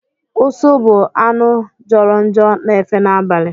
Ụsụ bụ anụ jọrọ njọ na-efe n'abalị.